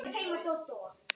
Og enn var svarað: